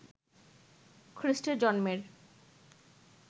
খ্রিষ্টের জন্মের